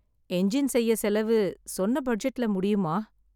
Engine செய்ய செலவு, சொன்ன பட்ஜெட்ல முடியுமா?